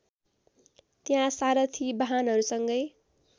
त्यहाँ सारथि बाहनहरूसँगै